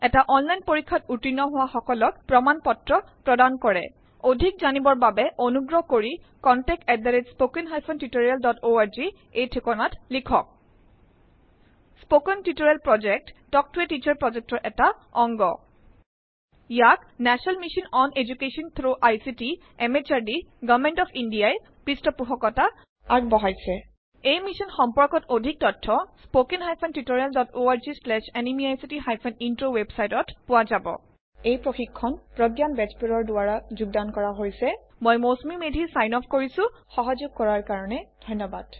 এটা অনলাইন পৰীক্ষাত উত্তীৰ্ণ হোৱা সকলক প্ৰমাণ পত্ৰ প্ৰদান কৰে অধিক জনাৰ বাবে অনুগ্ৰহ কৰি contactspoken tutorialorg ইয়াৈল লিখক কথন শিক্ষণ প্ৰকল্প তাল্ক ত a টিচাৰ প্ৰকল্পৰ এটা অংগ ইয়াক national mission on education through ICT MHRD government of India ই পৃষ্ঠপোষকতা আগবঢ়াইছে এই মিশ্যন সম্পৰ্কত অধিক তথ্য spoken hyphen tutorial dot org slash এনএমইআইচিত হাইফেন ইন্ট্ৰ ৱেবচাইটত পোৱা যাব এই প্ৰশিক্ষণ প্ৰগয়ান বেজবৰুৱাৰ দ্ৱাৰা যুগ্দান কৰা হইচে মই মৌচুমি মেধি চাইন অফ কৰিচু সহযোগ কৰাৰ কাৰনে ধন্য়বাদ নমস্কাৰ